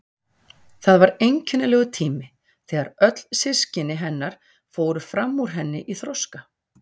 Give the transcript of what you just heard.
Það var einkennilegur tími þegar öll systkini hennar fóru fram úr henni í þroska.